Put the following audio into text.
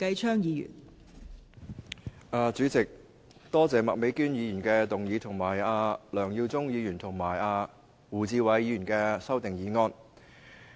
代理主席，多謝麥美娟議員提出議案及梁耀忠議員和胡志偉議員提出修正案。